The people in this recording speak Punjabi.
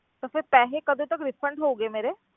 ਤਾਂ ਫਿਰ ਪੈਸੇ ਕਦੋਂ ਤੱਕ refund ਹੋਣਗੇ ਮੇਰੇ?